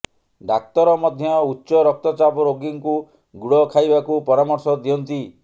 ଡାକ୍ତର ମଧ୍ୟ ଉଚ୍ଚ ରକ୍ତଚାପ ରୋଗୀଙ୍କୁ ଗୁଡ଼ ଖାଇବାକୁ ପରାମର୍ଶ ଦିଅନ୍ତି